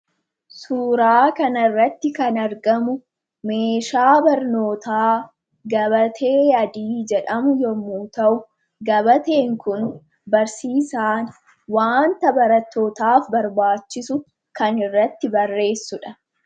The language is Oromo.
Suuraa kana irratti kan argamu meeshaa barnootaa, gabatee adii jedhamu yemmuu ta'u, gabatee adiin kun barsiisaan wanta barattootaaf barbaachisu kan irratti barreessuudha.